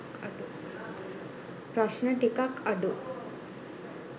ප්‍රශ්න ටිකක් අඩු.